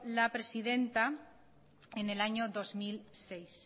la presidenta en el año dos mil seis